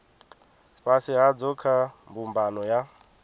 fhasi hadzo kha mbumbano ya